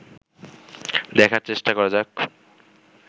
দেখার চেষ্টা করা যাক